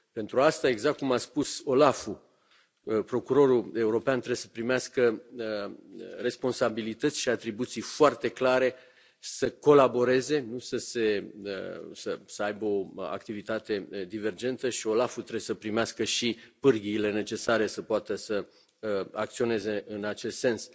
Pentru asta exact cum a spus OLAF procurorul european trebuie să primească responsabilități și atribuții foarte clare, să colaboreze, să aibă o activitate divergentă și OLAF trebuie să primească și pârghiile necesare să poată să acționeze în acest sens.